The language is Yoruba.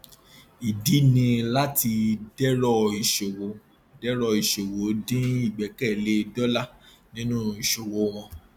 ìdí ni láti dẹrọ ìṣòwò dẹrọ ìṣòwò dín ìgbẹkẹlé dólà nínú ìṣòwò wọn